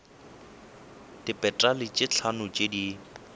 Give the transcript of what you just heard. dipetale tše hlano tše di